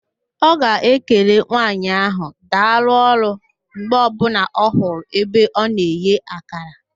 Ọ ga-ekele nwaanyị ahụ, "daalụ ọrụ" mgbe ọbụla ọ hụrụ ebe ọ na-eghe akara